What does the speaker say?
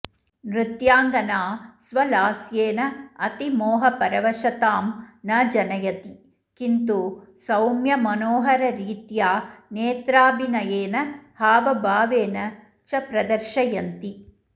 नृत्याङ्गना स्वलास्येन अतिमोहपरवशतां न जनयति किन्तु सौम्यमनोहररीत्या नेत्राभिनयेन हावभावेन च प्रदर्शयन्ति